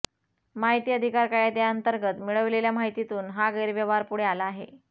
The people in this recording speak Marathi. माहिती अधिकार कायद्याअंतर्गत मिळविलेल्या माहितीतून हा गैरव्यवहार पुढे आला आहे